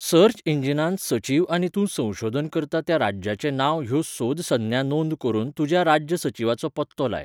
Search इंजिनांत सचीव आनी तूं संशोधन करता त्या राज्याचें नांव ह्यो सोद संज्ञा नोंद करून तुज्या राज्य सचिवाचो पत्तो लाय.